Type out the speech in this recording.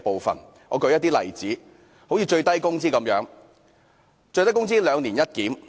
讓我舉出一個例子，就是最低工資的"兩年一檢"。